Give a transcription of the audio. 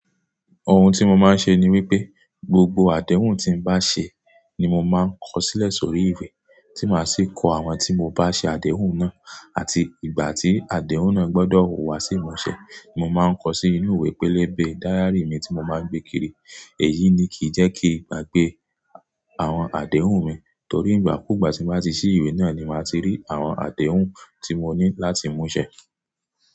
Òhun tí mo máa ń ṣe ni wípé, gbogbo àdéhùn tí n bá ṣe ni mo máa ń kọ sílẹ̀ sórí ìwé, tí màá sì kọ àwọn tí mo bá ṣe àdéhùn náà, àti ìgbà tí àdéhùn náà gbọ́dọ̀ wùwá sí ìmúṣẹ. Mo máa ń kọ sí inú ìwé pélébé diary mi tí mo máa gbé kiri. Èyí ni kìí jẹ́ kí n gbagbe àwọn àdéhùn mi, torí ìgbà kúùgbà tí màá ti ṣí ìwé náà ni màá ti rí àwọn àdéhùn tí mo ní láti mú ṣẹ.